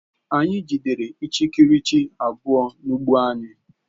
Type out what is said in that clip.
Anyị jidere ichikiriche abụọ n'ugbo anyị